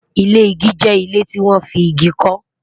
ilé ìgi jẹ ilé tí wọn fí ìgi ko